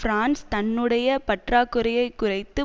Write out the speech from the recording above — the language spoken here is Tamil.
பிரான்ஸ் தன்னுடைய பற்றாக்குறையை குறைத்து